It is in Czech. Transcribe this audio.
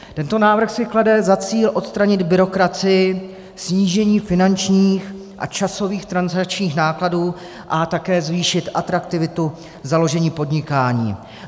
Tento návrh si klade za cíl odstranit byrokracii, snížení finančních a časových transakčních nákladů a také zvýšit atraktivitu založení podnikání.